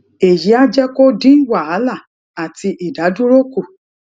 èyí á jé kó dín wàhálà ati idaduro kù